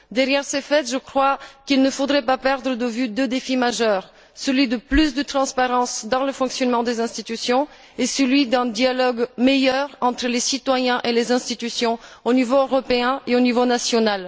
Derrière ces faits, je crois qu'il ne faudrait pas perdre de vue deux défis majeurs celui de plus de transparence dans le fonctionnement des institutions et celui d'un dialogue meilleur entre les citoyens et les institutions au niveau européen et au niveau national.